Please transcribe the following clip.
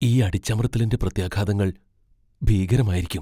ഈ അടിച്ചമർത്തലിന്റെ പ്രത്യാഘാതങ്ങൾ ഭീകരമായിരിക്കും.